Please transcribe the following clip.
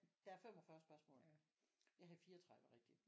Der er 45 spørgsmål jeg havde 34 rigtige